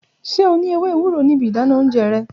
Ṣe o ni ewe ewuro ninu ibi idana ounjẹ rẹ?